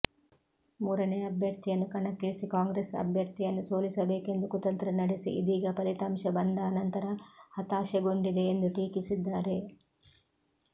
ಮೂರನೇ ಅಭ್ಯರ್ಥಿಯನ್ನು ಕಣಕ್ಕಿಳಿಸಿ ಕಾಂಗ್ರೆಸ್ ಅಭ್ಯರ್ಥಿಯನ್ನು ಸೋಲಿಸಬೇಕೆಂದು ಕುತಂತ್ರ ನಡೆಸಿ ಇದೀಗ ಫಲಿತಾಂಶ ಬಂದ ಅನಂತರ ಹತಾಶಗೊಂಡಿದೆ ಎಂದು ಟೀಕಿಸಿದ್ದಾರೆ